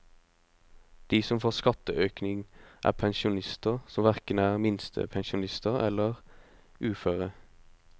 De som får skatteøkning, er pensjonister som hverken er minstepensjonister eller uføre.